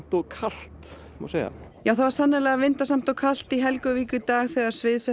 og kalt má segja já það var sannarlega vindasamt og kalt í Helguvík í dag þegar